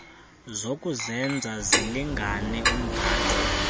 zokuzenza zilingane umgatho